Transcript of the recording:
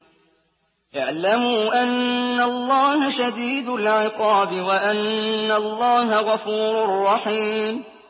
اعْلَمُوا أَنَّ اللَّهَ شَدِيدُ الْعِقَابِ وَأَنَّ اللَّهَ غَفُورٌ رَّحِيمٌ